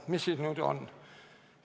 Mis siis nüüd on?